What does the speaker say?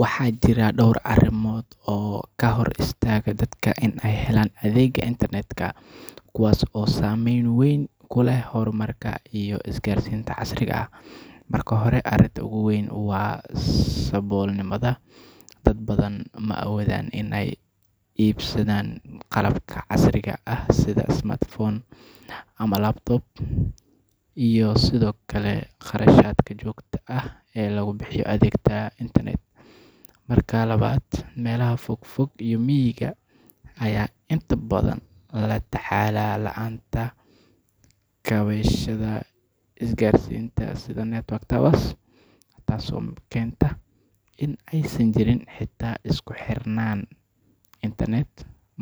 Waxaa jira dhowr arrimood oo ka hor istaaga dadka in ay helaan adeegga internet, kuwaas oo saameyn weyn ku leh horumarka iyo isgaarsiinta casriga ah. Marka hore, arrinta ugu weyn waa saboolnimada. Dad badan ma awoodaan in ay iibsadaan qalabka casriga ah sida smartphones ama laptops, iyo sidoo kale kharashaadka joogtada ah ee lagu bixiyo adeegga internet. Marka labaad, meelaha fog fog iyo miyiga ayaa inta badan la tacaala la’aanta kaabayaasha isgaarsiinta sida network towers, taasoo keenta in aysan jirin xitaa isku xirnaan internet.